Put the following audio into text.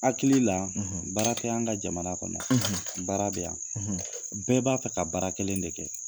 Hakili la baara tɛ an ka jamana kɔnɔ, baara bɛ yan , bɛɛ b'a fɛ ka baara kelen de kɛ!